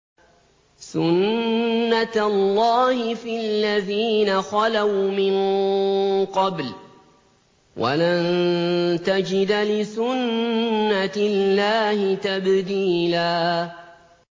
سُنَّةَ اللَّهِ فِي الَّذِينَ خَلَوْا مِن قَبْلُ ۖ وَلَن تَجِدَ لِسُنَّةِ اللَّهِ تَبْدِيلًا